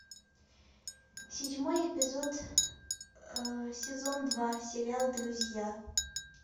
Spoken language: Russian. седьмой эпизод сезон два сериал друзья